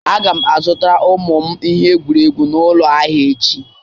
Aga m azụtara ụmụ m ihe egwuregwu n'ụlọ ahịa echi